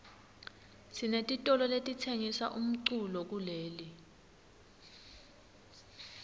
sinetitolo letitsengisa umculo kuleli